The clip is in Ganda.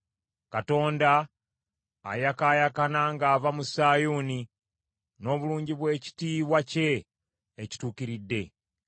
Katonda ayakaayakana ng’ava mu Sayuuni n’obulungi bw’ekitiibwa kye ekituukiridde.